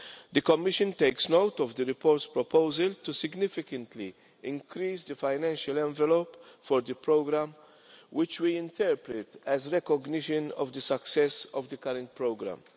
The Commission takes note of the report's proposal significantly to increase the financial envelope for the programme, and we interpret that as recognition of the success of the current programme.